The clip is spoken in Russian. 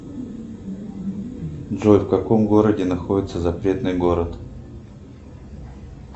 джой в каком городе находится запретный город